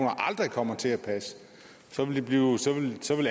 aldrig kommer til at passe